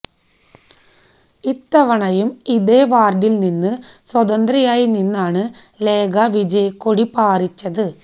ഇത്തണയും ഇതേ വാർഡിൽ നിന്ന് സ്വതന്ത്രയായി നിന്നാണ് ലേഖ വിജയക്കൊടി പാറിച്ചത്